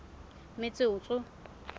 metsotso